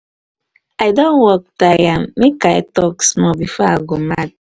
everybody for office just dey sleep today. work load plenty